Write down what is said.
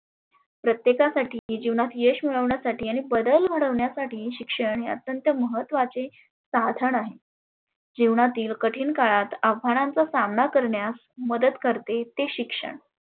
प्रत्येकासाठी आणि जिवनात यश मिळवण्यासाठी आणि बदल घडविण्यासाठी शिक्षण हे अत्यंत महत्वाचे साधन आहे. जिवनातील कठीन काळात आव्हानाचा सामना करण्यास मदत करते ते शिक्षण.